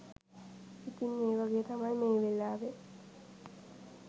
ඉතින් ඒ වගේ තමයි මේ වෙලාවේ